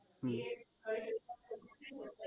હમ